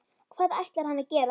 Hvað ætlar hann að gera?